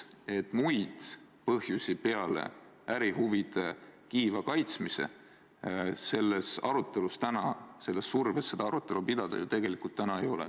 Muid põhjusi peale ärihuvide kiiva kaitsmise seda arutelu pidada ju tegelikult ei ole.